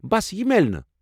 بس یہِ میلِہ نہٕ ۔